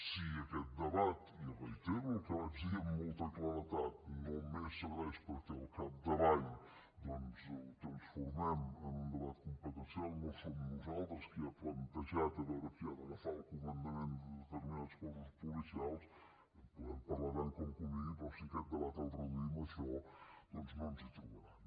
si aquest debat i reitero el que vaig dir amb molta claredat només serveix perquè al capdavall doncs ho transformem en un debat competencial no som nosaltres qui ha plantejat a veure qui ha d’agafar el comandament de determinats cossos policials que en podem parlar tant com convingui però si aquest debat el reduïm a això doncs no ens hi trobaran